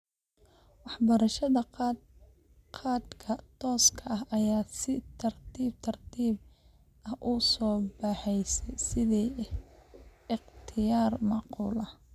Waxbarashada khadka tooska ah ayaa si tartiib tartiib ah u soo baxaysa sidii ikhtiyaar macquul ah.